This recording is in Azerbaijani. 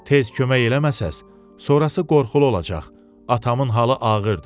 Tez kömək eləməsəniz, sonrası qorxulu olacaq, atamın halı ağırdır.